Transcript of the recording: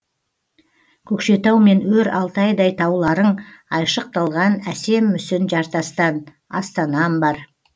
көкшетау мен өр алтайдай тауларың айшықталған әсем мүсін жартастан астанам бар